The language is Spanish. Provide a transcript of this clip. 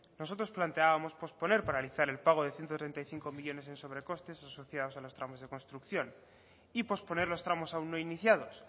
nosotros planteamos posponer paralizar el pago de ciento treinta y cinco millónes en sobrecostes asociados a los tramos de construcción y posponer los tramos aún no iniciados